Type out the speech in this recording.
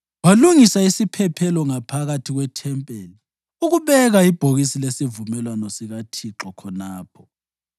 Walungisa isiphephelo ngaphakathi kwethempeli ukubeka ibhokisi lesivumelwano sikaThixo khonapho.